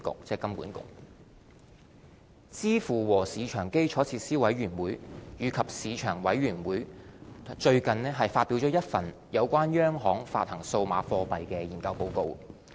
支付和市場基礎設施委員會及市場委員會最近發表了一份有關央行發行數碼貨幣的研究報告。